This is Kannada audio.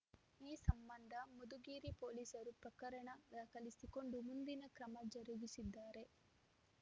ಈ ಸಂಬಂಧ ಮಧುಗಿರಿ ಪೊಲೀಸರು ಪ್ರಕರಣ ದಾಖಲಿಸಿಕೊಂಡು ಮುಂದಿನ ಕ್ರಮ ಜರುಗಿಸಿದ್ದಾರೆ